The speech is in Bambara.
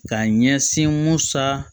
Ka ɲɛsin musa